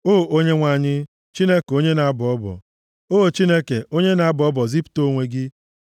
O Onyenwe anyị, Chineke onye na-abọ ọbọ, o Chineke, onye na-abọ ọbọ, zipụta onwe gị.